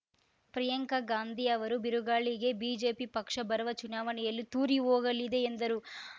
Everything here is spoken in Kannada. ಪ್ರಿಯಾಂಕಗಾಂಧಿ ಅವರು ಬಿರುಗಾಳಿಗೆ ಬಿಜೆಪಿ ಪಕ್ಷ ಬರುವ ಚುನಾವಣೆಯಲ್ಲಿ ತೂರಿ ಹೋಗಲಿದೆ ಎಂದರು